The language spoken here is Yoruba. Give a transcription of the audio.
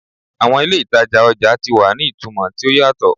Awọn ile itaja ọja ti wa ni itumọ ti o yatọ